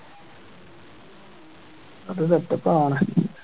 അപ്പോ ഇത് എപ്പോ കാണാൻ